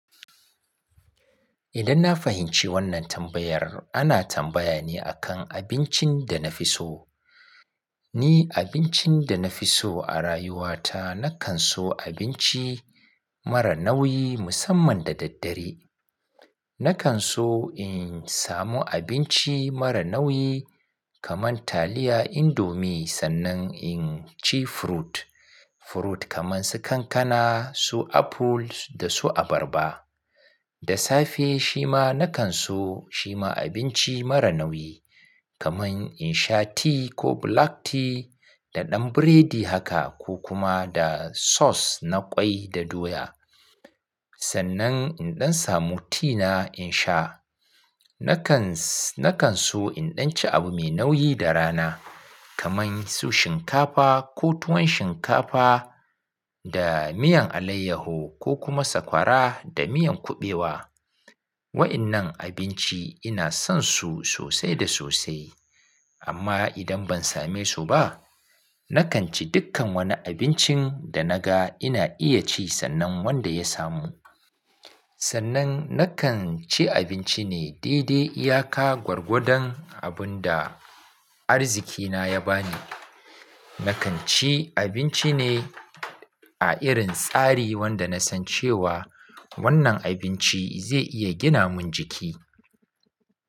Idan na fahimci wannan tambayar, ana tambaya ne a kan abincin da na fi so. Ni abincin da na fi so a rayuwa ta, na kan so abinci mara nauyi musamman da daddare. Na kan so in samu abinci mara nauyi kaman taliya, indomie sannan in ci fruit. Fruit kaman su kankana, su apples da su abarba. Da safe shima na kan so shima abinci mara nauyi kaman in sha tea ko black tea da ɗan biredi haka ko kuma da sauce na ƙwai da doya. Sannan in ɗan samu tea na in sha. Na kans-- na kan so in ɗan ci abu mai nauyi da rana kaman su shinkafa ko tuwon shinkafa da miyan alayyaho ko kuma sakwara da miyan kuɓewa. Wa'innan abinci ina son su sosai da sosai amma idan ban same su ba, na kan ci dukkan wani abincin da naga ina iya ci sannan wanda ya samu. Sannan na kan ci abinci ne dai-dai iyaka gwargwadon abun da arzikina ya ba ni. Na kan ci abinci ne a irin tsari wanda na san cewa wannan abinci zai iya gina mun jiki.